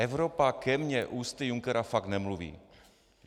Evropa ke mně ústy Junckera fakt nemluví.